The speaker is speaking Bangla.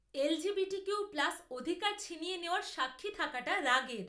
এলজিবিটিকিউ প্লাস অধিকার ছিনিয়ে নেওয়ার সাক্ষী থাকাটা রাগের।